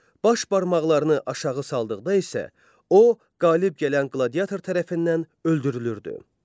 Baş barmaqlarını aşağı saldıqda isə, o qalib gələn qladiatör tərəfindən öldürülürdü.